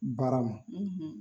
Baara ma,